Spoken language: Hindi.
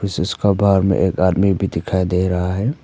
उसका बाहर में एक आदमी भी दिखाई दे रहा है।